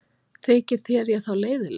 Þykir þér ég þá leiðinleg?